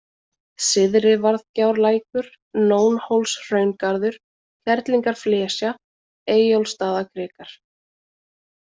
Syðrivarðgjárlækur, Nónhólshraungarður, Kerlingarflesja, Eyjólfsstaðakrikar